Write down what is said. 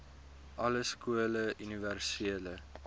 alle skole universele